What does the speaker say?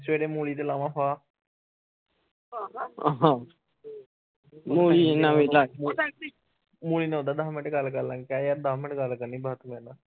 ਸਵੇਰੇ ਮੂਲੀ ਤੇ ਲਾਵਾ ਫਾਹ ਮੂਲੀ ਨਾ ਵੀ ਲਗ ਗਈ ਮੂਲੀ ਨਾ ਓਦਾਂ ਦੱਸ ਮਿੰਟ ਗੱਲ ਕਰਲਾਗੇ ਕਹਿ ਯਾਰ ਦੱਸ ਮਿੰਟ ਗੱਲ ਕਰਨੀ ਬਸ